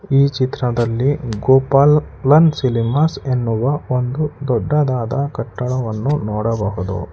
ಈ ಚಿತ್ರದಲ್ಲಿ Gopalan cinemas ಎನ್ನುವ ಒಂದು ದೊಡ್ಡದಾದ ಕಟ್ಟಡವನ್ನು ನೋಡಬಹುದು.